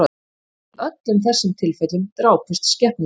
Í öllum þessum tilfellum drápust skepnurnar